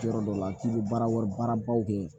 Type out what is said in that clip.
Yɔrɔ dɔ la k'i bɛ baara wɛrɛ baara baw kɛ